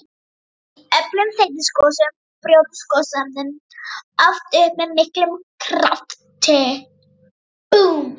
Í öflugum þeytigosum brjótast gosefnin oft upp með miklum krafti.